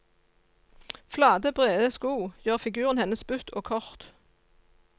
Flate, brede sko gjorde figuren hennes butt og kort.